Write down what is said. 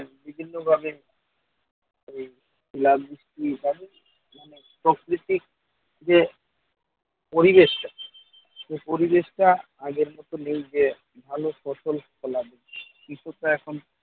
বিভিন্নভাবে এই বৃষ্টি হবে মানে প্রকৃতিক যে পরিবেশ সেই পরিবেশটা আগের মতো নেই যে ভালো ফসল ফলাবে। কিছুটা এখন